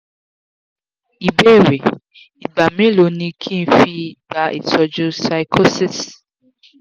ìbéèrè: igba melo ni ki n fi gba Ìtọ́jú pyschosis?